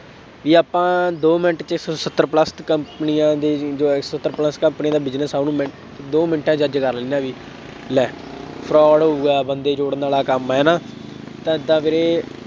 ਬਈ ਆਪਾਂ ਦੋ ਮਿੰਟ ਇੱਕ ਸੌ ਸੱਤਰ plus ਕੰਪਨੀਆਂ ਦੇ ਸੱਤਰ plus ਕੰਪਨੀਆਂ ਦਾ business ਆ, ਉਹਨੂੰ ਮਿੰਟ ਦੋ ਮਿੰਟਾਂ ਚ judge ਕਰ ਲੈਂਦੇ ਆ ਬਈ, ਲੈ, fraud ਹੋਊਗਾ, ਬੰਦੇ ਜੋੜਨ ਵਾਲਾ ਕੰਮ ਹੈ, ਹੈ ਨਾ, ਤਾਂ ਵੀਰੇ